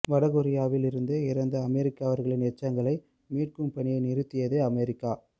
வடகொரியாவில் இருந்து இறந்த அமெரிக்கர்களின் எச்சங்களை மீட்கும் பணியை நிறுத்தியது அமெரிக்கா